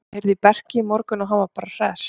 Ég heyrði í Berki í morgun og hann var bara hress.